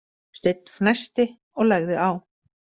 Steinn fnæsti og lagði á.